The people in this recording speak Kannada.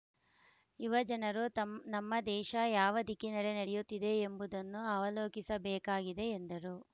ಯುವಜನರು ತಂ ನಮ್ಮ ದೇಶ ಯಾವ ದಿಕ್ಕಿನಡೆ ನಡೆಯುತ್ತಿದೆ ಎಂಬುದನ್ನು ಅವಲೋಕಿಸಬೇಕಾಗಿದೆ ಎಂದರು